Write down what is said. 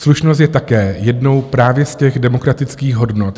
Slušnost je také jednou právě z těch demokratických hodnot.